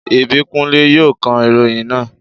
Ìbíkúnlé yóò ka ìròyìn náà